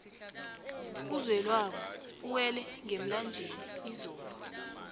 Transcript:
uzwelabo uwela ngemlanjeni izolo